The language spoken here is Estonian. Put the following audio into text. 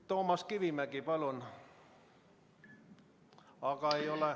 Toomas Kivimägi, palun!